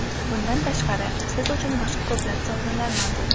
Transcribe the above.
Bundan tashqari, siz uchun boshqa ko‘plab sovrinlar mavjud.